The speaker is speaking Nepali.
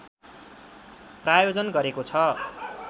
प्रायोजन गरेको छ